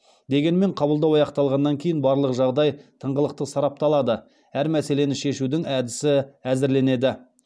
дегенмен қабылдау аяқталғаннан кейін барлық жағдай тыңғылықты сарапталады әр мәселені шешудің әдісі әзірленеді